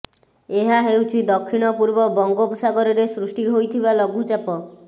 ଏହା ହେଉଛି ଦକ୍ଷିଣ ପୂର୍ବ ବଙ୍ଗୋପସାଗରରେ ସୃଷ୍ଟି ହୋଇଥିବା ଲଘୁଚାପ